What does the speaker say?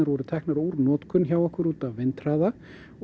voru teknar úr notkun hjá okkur út af vindhraða